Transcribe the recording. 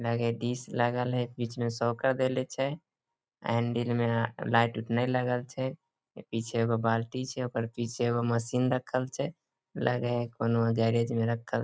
Nike disc लागल है बीच में शॉकर देले छे हैंडल में लाइट उट न लगइल छे पीछे ओकर येगो बाल्टी छे ओकर पीछे एगो मशीन रखल छे लगएहे कोनो गैरेज में रखल।